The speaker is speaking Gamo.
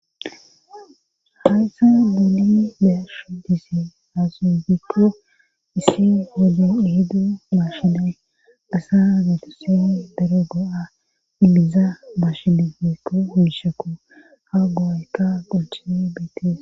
Haysa nuuni be'ashe dizay gikko issi hodon ihiddu maashinae asa naytasini daro go7a imiza miishshane woykko miishshakko ha go7ayka qolchise beetes.